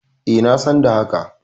E, na san da haka.